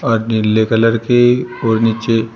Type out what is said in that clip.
नीले कलर के और नीचे--